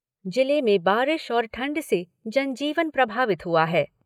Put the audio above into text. जिले में बारिश और ठंड से जनजीवन प्रभावित हुआ है।